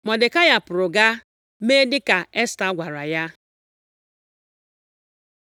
Mọdekai pụrụ, gaa mee dịka Esta gwara ya.